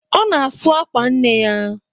Ọ na-asụ àkwà nne ya.